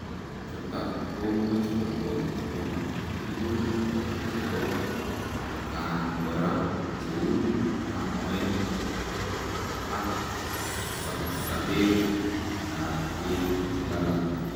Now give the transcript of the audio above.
Chutak komuuch kobotoo tugun chepoo atakaan koraa cheu kamoet ak sapsabeet ap peek che lalang